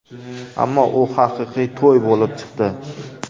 Ammo u haqiqiy to‘y bo‘lib chiqdi.